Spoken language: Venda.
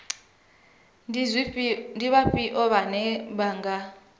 ndi vhafhio vhane vha nga